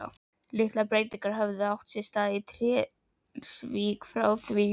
Litlar breytingar höfðu átt sér stað í Trékyllisvík frá því